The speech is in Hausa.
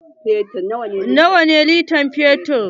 Nawa ne litan fetur?